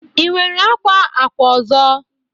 Ị nwere akwa akwa ọzọ?